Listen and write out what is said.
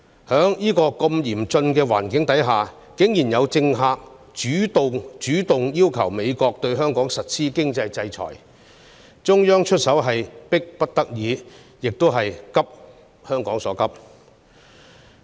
在如此嚴峻的環境下，竟然有政客主動要求美國對香港實施經濟制裁，故中央出手是迫不得已，亦是急香港所急。